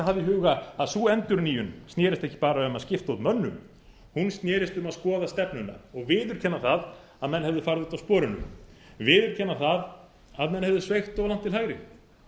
í huga að sú endurnýjun snerist ekki bara um að skipta út mönnum hún snerist um að skoða stefnuna og viðurkenna það að menn hefðu farið út af sporinu viðurkenna að menn hefðu sveigt of langt til hægri